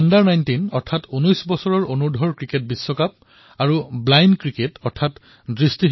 ১৯অনুৰ্ধ cricket বিশ্বকাপ আৰু blind cricket বিশ্বকাপত ভাৰতে জয়লাভ কৰিলে